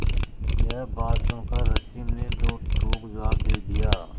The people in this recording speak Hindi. यह बात सुनकर रश्मि ने दो टूक जवाब दे दिया